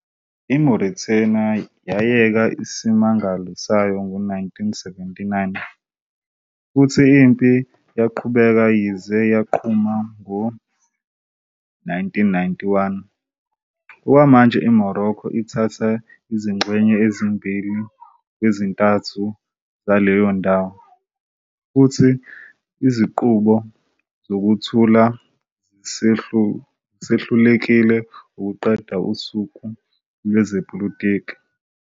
IMauritania yayeka isimangalo sayo ngo-1979, futhi impi yaqhubeka yaze yaqhuma ngo-1991. Okwamanje iMorocco ithatha izingxenye ezimbili kwezintathu zaleyo ndawo, futhi izinqubo zokuthula zisehlulekile wukuqeda usuku lwezepolitiki.